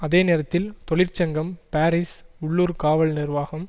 அதே நேரத்தில் தொழிற்சங்கம் பாரிஸ் உள்ளூர் காவல் நிர்வாகம்